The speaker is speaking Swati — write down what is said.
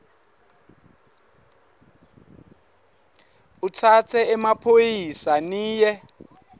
utsatse emaphoyisa niye